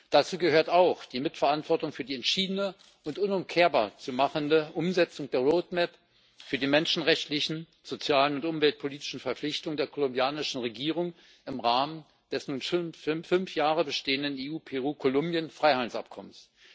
Dazu gehört auch die Mitverantwortung für die entschiedene und unumkehrbar zu machende Umsetzung der Roadmap für die menschenrechtlichen, sozialen und umweltpolitischen Verpflichtungen der kolumbianischen Regierung im Rahmen des nun schon fünf Jahre bestehenden EU Peru Kolumbien Freihandelsabkommens.